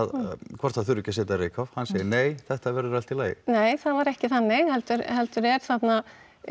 hvort það þurfi ekki að setja reykháf hann segir nei þetta verður allt í lagi nei það var ekki þannig heldur er þarna